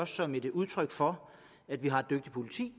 som et udtryk for at vi har et dygtigt politi